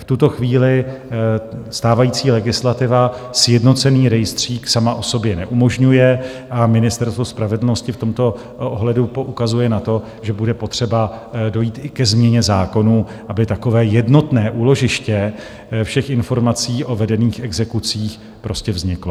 V tuto chvíli stávající legislativa sjednocený rejstřík sama o sobě neumožňuje a Ministerstvo spravedlnosti v tomto ohledu poukazuje na to, že bude potřeba dojít i ke změně zákonů, aby takové jednotné úložiště všech informací o vedených exekucích prostě vzniklo.